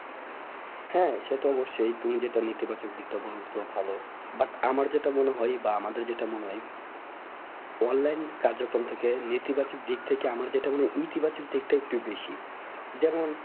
হ্যাঁ সে তো অবশ্যই তুই যেটা নীতি বাচক দিকটা ভালো but আমার যেটা মনে হয় বা আমাদের জেতা মনে হয় online কার্যক্রম থেকে নীতি বাচক দিক থেকে আমরা যেটা মনে হয় ইতি বাচক দিকটা একটু বেশি যেমন